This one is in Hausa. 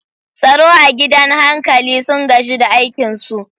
Tsaro a gidan hankali sun gaji da aikinsu.